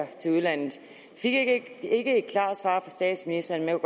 til udlandet vi fik ikke et klart svar fra statsministeren men